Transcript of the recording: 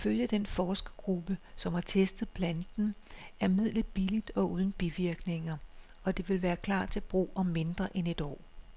Ifølge den forskergruppe, som har testet planten, er midlet billigt og uden bivirkninger, og det vil klar til brug om mindre end et år.